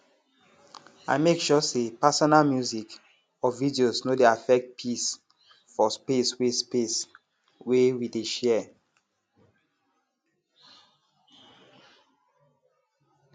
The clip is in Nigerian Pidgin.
i make sure say personal music or videos no dey affect peace for space wey space wey we dey share